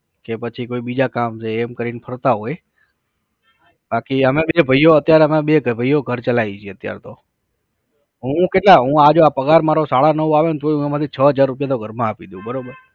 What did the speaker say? કે પછી કોઈ બીજા કામ છે એમ કરીને ફરતા હોય. બાકી અમે એટલે ભાઈઓ અત્યારે બે ભાઈઓ ઘર ચલાવીએ છે અત્યારે તો, હું કેટલા, હું આ જો પગાર આ મારો સાડા નવ આવે ને તોઈ એમાં થી હું છ હજાર રૂપિયા તો ઘરમાં આપી દાવ બરોબર